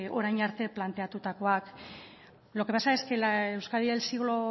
orain arte planteatutakoak lo que pasa es que la euskadi del siglo